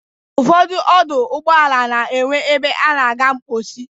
Ụfọdụ ọdọ ụgbọala na-enwe ebe a na-aga mkposi.